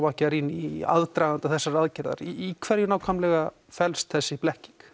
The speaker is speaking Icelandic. Macchiarini í aðdraganda þessarar aðgerðar í hverju nákvæmlega felst þessi blekking